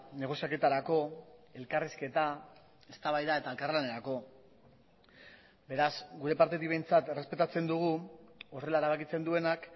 negoziaketarako elkarrizketa eztabaida eta elkarlanerako beraz gure partetik behintzat errespetatzen dugu horrela erabakitzen duenak